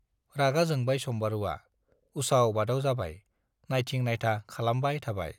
रागा जोंबाय सम्बारुवा, उसाव-बादाव जाबाय, नाइथिं-नाइथा खालामबाय थाबाय।